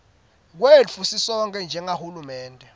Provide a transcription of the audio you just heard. kwetfu sisonkhe njengahulumende